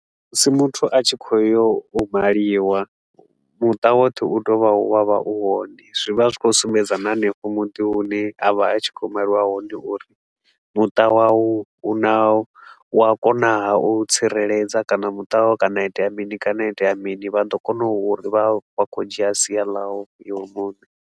Musi muthu a tshi khou yo u maliwa, muṱa woṱhe u tea u vha u vha u hone. Zwi vha zwi khou sumbedza na hanefho muḓi hune a vha a tshi kho yo maliwa hone uri muṱa wau u na, u a kona haa u tsireledza kana muṱa wau kana ha itea mini kana ha itea mini vha ḓo kona u ri vha vha khou dzhia sia lau iwe muṋe.